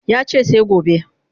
Ya ce sai gobe